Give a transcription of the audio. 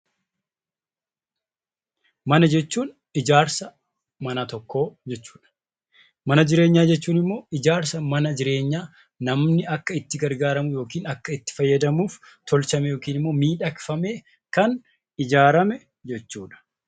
Mana jechuun ijaarsa mana tokkoo jechuu dha. Mana jireenyaa jechuun immoo ijaarsa mana jireenyaa namni akka itti gargaaramu yookiin akka itti fayyadamuf tolchame yookiin immoo miidhagfamee kan ijaarame jechuu dha.